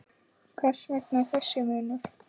Hvers vegna þessi munur?